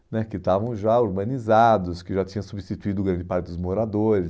né que estavam já urbanizados, que já tinha substituído grande parte dos moradores.